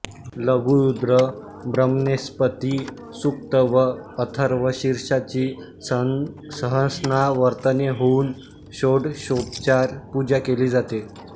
लघुरुद्र ब्रह्मणेस्पती सुक्त व अथर्वशीर्षाची सहस्रावर्तने होऊन षोडशोपचार पूजा केली जाते